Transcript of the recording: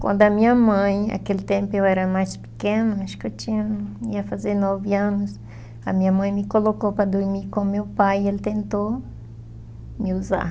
Quando a minha mãe, aquele tempo eu era mais pequena, acho que eu tinha, ia fazer nove anos, a minha mãe me colocou para dormir com meu pai e ele tentou me usar.